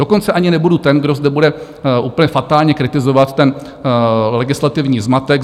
Dokonce ani nebudu ten, kdo zde bude úplně fatálně kritizovat ten legislativní zmatek.